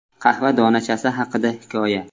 Qahva donachasi haqida hikoya.